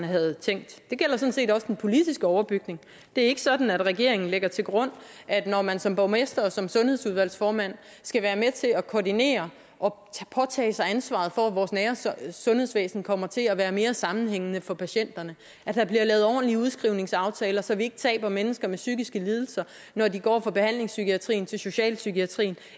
havde tænkt det gælder sådan set også den politiske overbygning det er ikke sådan at regeringen lægger til grund at når man som borgmester og som sundhedsudvalgsformand skal være med til at koordinere og påtage sig ansvaret for at vores nære sundhedsvæsen kommer til at være mere sammenhængende for patienterne at der bliver lavet ordentlige udskrivningsaftaler så vi ikke taber mennesker med psykiske lidelser når de går fra behandlingspsykiatrien til socialpsykiatrien